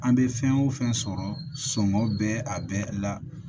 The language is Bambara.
An bɛ fɛn o fɛn sɔrɔ sɔngɔ bɛ a bɛ la